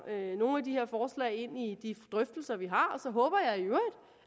nogle af de her forslag ind i de drøftelser vi har